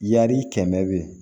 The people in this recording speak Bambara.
Yari kɛmɛ be ye